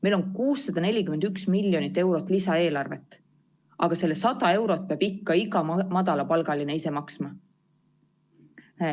Meil on 641 miljonit eurot lisaeelarvet, aga selle 100 eurot peab ikka iga madalapalgaline ise maksma.